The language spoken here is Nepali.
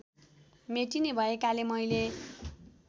मेटिने भएकाले मैले